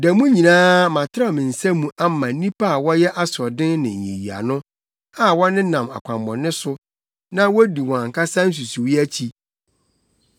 Da mu nyinaa, matrɛw me nsa mu ama nnipa a wɔyɛ asoɔden ne nyiyiano, a wɔnenam akwammɔne so, na wodi wɔn ankasa nsusuwii akyi.